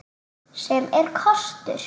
Sem er kostur!